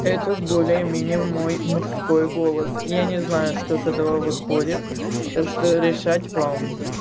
это более-менее мой мужской голос я не знаю что с этого выходит так что решать вам